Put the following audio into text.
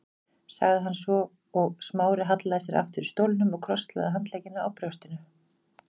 sagði hann svo og Smári hallaði sér aftur í stólnum og krosslagði handleggina á brjóstinu.